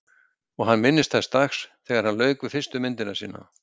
Og hann minnist þess dags þegar hann lauk við fyrstu myndina sína.